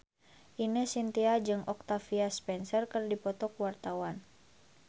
Ine Shintya jeung Octavia Spencer keur dipoto ku wartawan